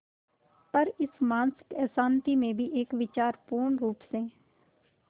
पर इस मानसिक अशांति में भी एक विचार पूर्णरुप से